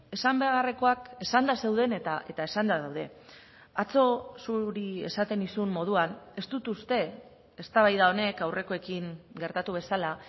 esan beharrekoak esanda zeuden eta esanda daude atzo zuri esaten nizun moduan ez dut uste eztabaida honek aurrekoekin gertatu bezala